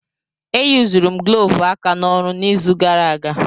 E yuzuru m glọvu aka n'ọrụ n'izu gara aga.